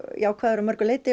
jákvæður að mörgu leyti